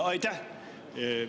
Aitäh!